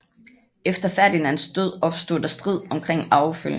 Efter Ferdinands død opstod der strid omkring arvefølgen